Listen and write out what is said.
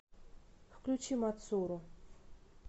включи мацуру